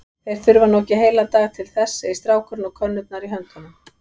Þeir þurfa nú ekki heilan dag til þess, segir strákurinn og könnurnar í höndum